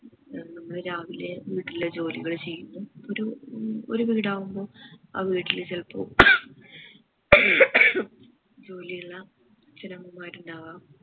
എന്നും രാവിലെ വീട്ടിലെ ജോലികൾ ചെയ്യുമ്പോ ഒരു ഏർ ഒരു വീടാകുമ്പോൾ ആ വീട്ടില് ചെലപ്പോ ജോലിയെല്ലാം ഉണ്ടാകാം